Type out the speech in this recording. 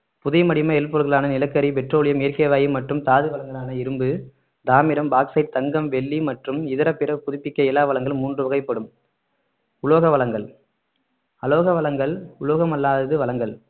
புதை மடிம எரிபொருள்களான நிலக்கரி பெட்ரோலியம் இயற்கை வாயு மற்றும் தாது வளங்களான இரும்பு தாமிரம் பாக்ஸைட் தங்கம் வெள்ளி மற்றும் இதர பிற புதுப்பிக்க இயலா வளங்களும் மூன்று வகைப்படும் உலோக வளங்கள் அலோக வளங்கள் உலோகமல்லாதது வளங்கள்